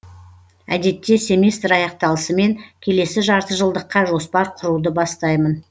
әдетте семестр аяқталысымен келесі жартыжылдыққа жоспар құруды бастаймын